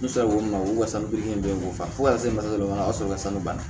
N sera ko min ma ko den ko fa se ma o y'a sɔrɔ salon bana